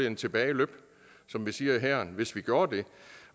en tilbage løb som vi siger i hæren hvis vi gjorde det